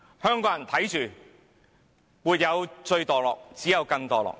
香港人看着，沒有最墮落，只有更墮落。